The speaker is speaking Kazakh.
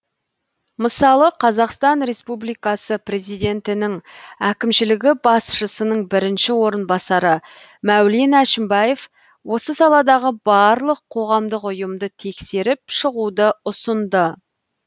мысалы қазақстан республикасы президентінің әкімшілігі басшысының бірінші орынбасары мәулен әшімбаев осы саладағы барлық қоғамдық ұйымды тексеріп шығуды ұсынды